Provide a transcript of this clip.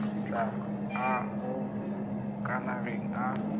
tla a go gakanega a